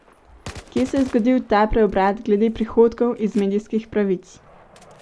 Kje se je zgodil ta preobrat glede prihodkov iz medijskih pravic?